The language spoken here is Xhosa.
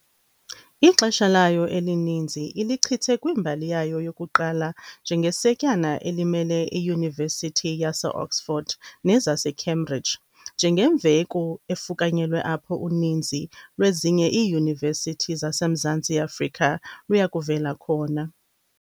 Ixesha layo elininzi ilichithe kwimbali yayo yokuqala njengesetyana elimele iYunivesithi yaseOxford nezaseCambridge, njengemveku efukanyelweyo apho uninzi lwezinye iiYunivesithi zaseMzantsi Afrika luyakuvela khona.